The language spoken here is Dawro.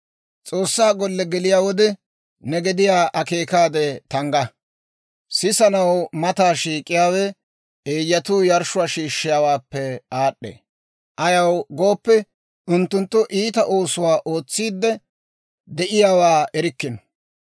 S'oossaa golliyaa geliyaa wode, ne gediyaa akeekaade tangga. Sisanaw mataa shiik'iyaawe, eeyyatuu yarshshuwaa shiishshiyaawaappe aad'd'ee; ayaw gooppe, unttunttu iita oosuwaa ootsiidde de'iyaawaa erikkino.